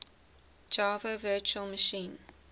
java virtual machine